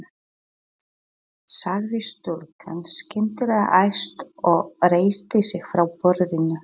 sagði stúlkan skyndilega æst og reisti sig frá borðinu.